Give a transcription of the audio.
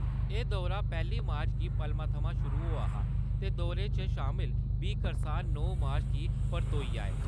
एह् दौरा पैह्‌ली मार्च गी पलमा थमां शुरु होआ हा ते दौरे च शामल बीह् करसान नौ मार्च गी परतोई आए।